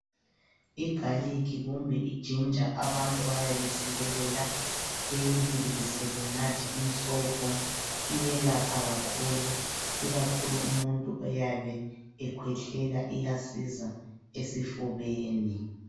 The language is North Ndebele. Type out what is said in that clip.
Igarlic kumbe iginger abantu bayayisikelela beyibilise benathe umsobho. Iyelapha kakhulu, ikakhulu umuntu oyabe ekhwehlela iyasiza esifubeni.